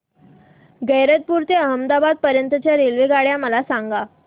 गैरतपुर ते अहमदाबाद पर्यंत च्या रेल्वेगाड्या मला सांगा